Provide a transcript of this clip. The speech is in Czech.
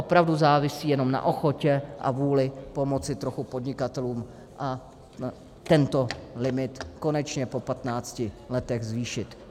Opravdu závisí jenom na ochotě a vůli pomoci trochu podnikatelům a tento limit konečně po 15 letech zvýšit.